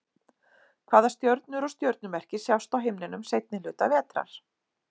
Hvaða stjörnur og stjörnumerki sjást á himninum seinni hluta vetrar?